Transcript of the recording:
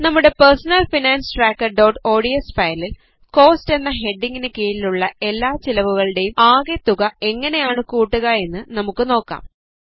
നമ്മുടെ personal finance trackerഓഡ്സ് ഫയലിൽ കോസ്റ്റ് എന്ന ഹെഡിംഗിന് കീഴിലുള്ള എല്ലാ ചിലവുകളുടേയും ആകെ തുക എങ്ങനെയാണ് കൂട്ടുക എന്ന് നമുക്ക് നോക്കാം